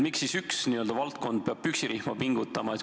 Miks siis üks valdkond peab püksirihma pingutama?